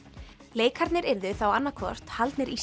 leikarnir yrðu þá annað hvort haldnir í